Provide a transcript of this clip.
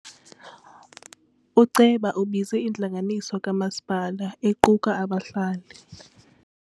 Uceba ubize intlanganiso kamasipala equka abahlali.